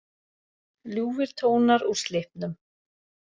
Ljúfir tónar úr Slippnum